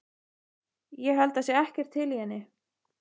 Ég held það sé ekkert til í henni.